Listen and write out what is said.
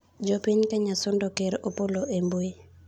Jopiny Kenya sundo ker Opollo e mbui